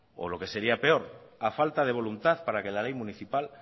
o lo que sería peor a falta de voluntad para que la ley municipal